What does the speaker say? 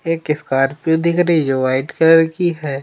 एक स्कॉर्पियो दिख रही जो वाइट कलर की है।